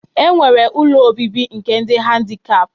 E nwere ụlọ obibi nke ndị dị handikap